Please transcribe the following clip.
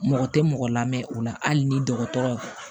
Mɔgɔ tɛ mɔgɔ lamɛn o la hali ni dɔgɔtɔrɔw